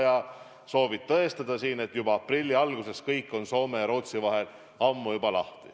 Ja sa soovid tõestada, et juba aprilli algusest on piir Soome ja Rootsi vahel lahti.